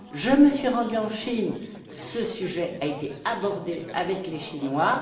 Je me suis rendue en Chine où ce sujet a été abordé avec les Chinois.